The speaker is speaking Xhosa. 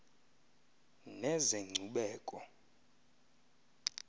nezenkcubeko